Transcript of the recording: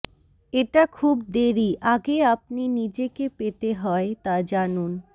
এটা খুব দেরী আগে আপনি নিজেকে পেতে হয় তা জানুন